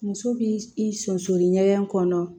Muso b'i i sonsanni ɲɛgɛn kɔnɔ